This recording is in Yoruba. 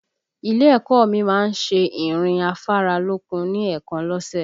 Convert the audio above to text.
Ilé ẹ̀kọ́ ọ mi má ń ṣe ìrìn afáralókun ní èèkan lọ́sẹ̀